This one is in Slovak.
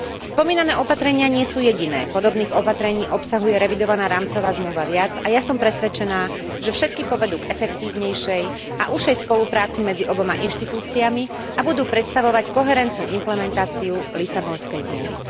Spomínané opatrenia nie sú jediné, podobných opatrení obsahuje revidovaná rámcová zmluva viac, a ja som presvedčená, že všetky povedú k efektívnejšej a užšej spolupráci medzi oboma inštitúciami a budú predstavovať koherentnú implementáciu Lisabonskej zmluvy.